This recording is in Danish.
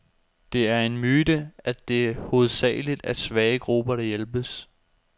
Det er en myte, at det hovedsageligt er svage grupper, der hjælpes.